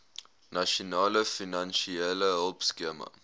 nasionale finansiële hulpskema